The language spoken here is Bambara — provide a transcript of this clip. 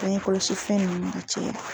Bange kɔlɔsi fɛn nunnu cɛ